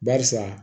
Barisa